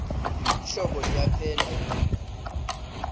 ihlobo liyaphela inyanga le